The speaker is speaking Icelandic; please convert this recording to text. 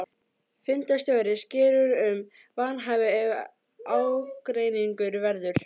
Fundarstjóri sker úr um vanhæfi ef ágreiningur verður.